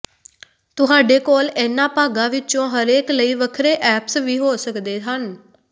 ਤੁਹਾਡੇ ਕੋਲ ਇਹਨਾਂ ਭਾਗਾਂ ਵਿੱਚੋਂ ਹਰੇਕ ਲਈ ਵੱਖਰੇ ਐਪਸ ਵੀ ਹੋ ਸਕਦੇ ਹਨ